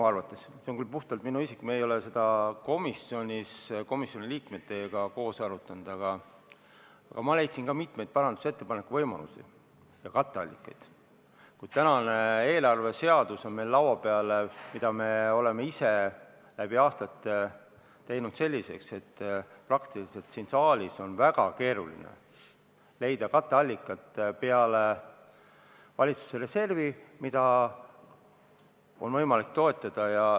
See on küll puhtalt minu isiklik arvamus, me ei ole seda komisjoni liikmetega koos arutanud, aga ma leidsin ka mitmeid parandusettepanekute võimalusi ja katteallikaid, kuid tänane eelarveseadus on meil laua peal ja me oleme ise aastatega teinud ta selliseks, et siin saalis on väga keeruline leida muud katteallikat peale valitsuse reservi, mida oleks võimalik toetada.